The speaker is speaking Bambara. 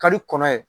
Ka di kɔnɔ ye